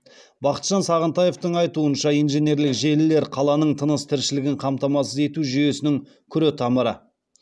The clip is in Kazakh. бақытжан сағынтаевтың айтуынша инженерлік желілер қаланың тыныс тіршілігін қамтамасыз ету жүйесінің күретамыры